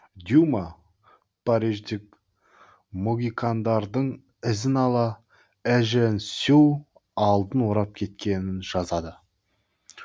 дюма париждік могикандардың ізін ала эжен сю алдын орап кеткенін жазады